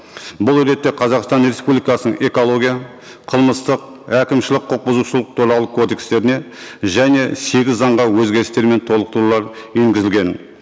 бұл ретте қазақстан республикасының экология қылмыстық әкімшілік құқық бұзушылық туралы кодекстеріне және сегіз заңға өзгерістер мен толықтырулар енгізілген